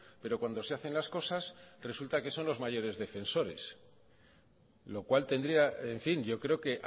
pero cuando se hacen las cosas resulta que son los mayores defensores lo cual tendría en fin yo creo que